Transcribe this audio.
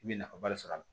I bɛ nafaba de sɔrɔ a la